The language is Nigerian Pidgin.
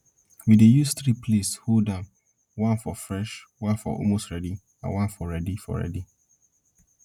we dey use three place hold am one for fresh one for almost ready one for ready for ready